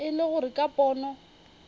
e le gore ka pono